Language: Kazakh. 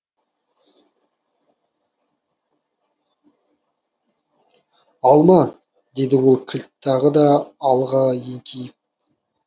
алма деді ол кілт тағы да алға еңкейіп